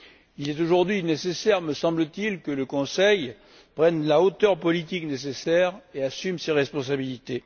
Il est aujourd'hui nécessaire, me semble t il, que le Conseil prenne la hauteur politique nécessaire et assume ses responsabilités.